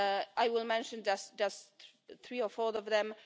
I will mention just three or four of them.